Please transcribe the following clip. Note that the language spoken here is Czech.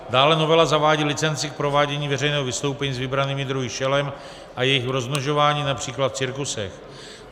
Dále novela zavádí licenci k provádění veřejného vystoupení s vybranými druhy šelem a jejich rozmnožování, například v cirkusech.